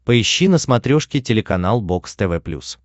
поищи на смотрешке телеканал бокс тв плюс